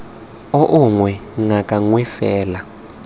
oo gongwe ngaka nngwe fela